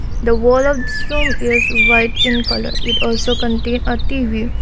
the wall of this room is white in colour it also contain a T_V.